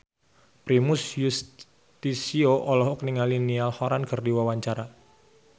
Primus Yustisio olohok ningali Niall Horran keur diwawancara